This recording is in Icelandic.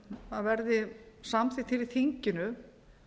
að verði samþykkt í þinginu